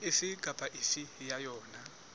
efe kapa efe ya yona